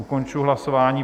Ukončuji hlasování.